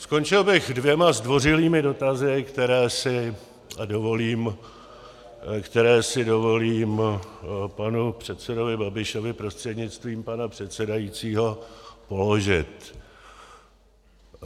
Skončil bych dvěma zdvořilými dotazy, které si dovolím panu předsedovi Babišovi prostřednictvím pana předsedajícího položit.